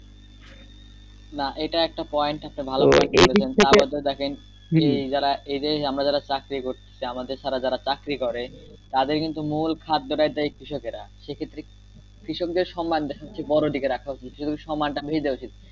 না এটা একটা point একটা ভালো দেখেন এ দেশে আমরা যারা চাকরি করছি যে আমাদের ছাড়া যারা চাকরি করে তাদের কিন্তু মুল খাদ্যটাই দেয় কৃষকেরা সে ক্ষেত্রে কৃষকদের সম্মান সবচেয়ে বড় দিকে রাখা উচিৎ সে সম্মান টা দিয়ে দেওয়া উচিৎ।